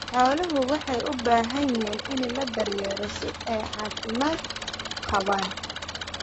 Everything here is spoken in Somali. Xooluhu waxay u baahan yihiin in la daryeelo si ay u caafimaad qabaan.